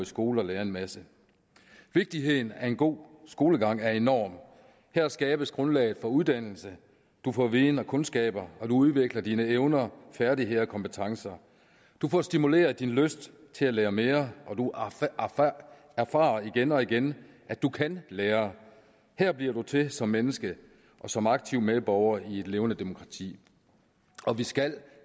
skole og lære en masse vigtigheden af en god skolegang er enorm her skabes grundlaget for uddannelse du får viden og kundskaber og du udvikler dine evner færdigheder og kompetencer du får stimuleret din lyst til at lære mere og du erfarer igen og igen at du kan lære her bliver du til som menneske og som aktiv medborger i et levende demokrati og vi skal